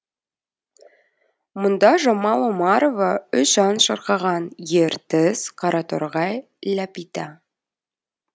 мұнда жамал омарова үш ән шырқаған ертіс қараторғай ләпита